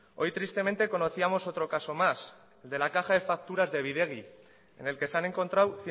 hoy tristemente conocíamos otro caso más el de la caja de facturas de bidegi en el que se han encontrado